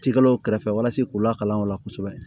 Cikɛlaw kɛrɛfɛ walasa k'u lakalan o la kosɛbɛ